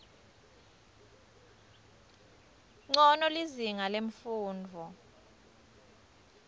ncono lizinga lemfundvo